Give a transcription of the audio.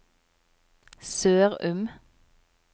Sørum